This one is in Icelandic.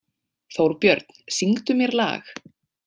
Þórbjörn, syngdu mér lag.